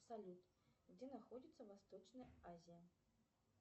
салют где находится восточная азия